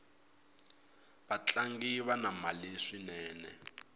vatlangi vana mali swinene